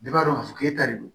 Bɛɛ b'a dɔn k'a fɔ k'e ta de don